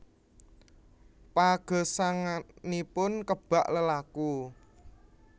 Pagesanganipun kebak lelaku